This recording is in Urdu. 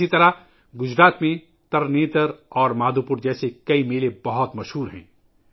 اسی طرح گجرات میں ترنیتر اور مادھوپور جیسے کئی میلے بہت مشہور ہیں